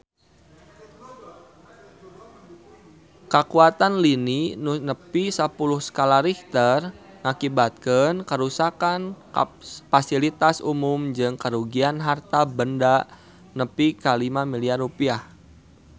Kakuatan lini nu nepi sapuluh skala Richter ngakibatkeun karuksakan pasilitas umum jeung karugian harta banda nepi ka 5 miliar rupiah